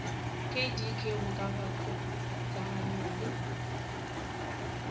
kdk go ka ikgokaganywa le